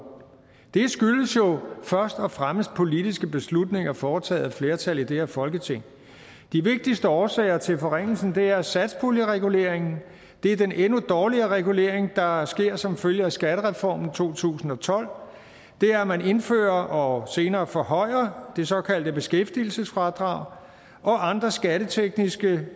det skyldes jo først og fremmest politiske beslutninger foretaget af et flertal i det her folketing de vigtigste årsager til forringelsen er satspuljereguleringen det er den endnu dårligere regulering der sker som følge af skattereformen to tusind og tolv det er at man indfører og senere forhøjer det såkaldte beskæftigelsesfradrag og andre skattetekniske